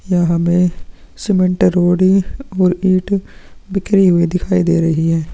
यह हमें सीमेंट रोड़ी और ईंट बिखरी हुई दिखाई दे रही हैं।